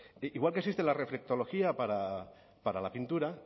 igual que existe la reflectología para la pintura